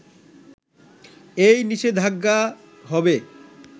এই নিষেধাজ্ঞা হবে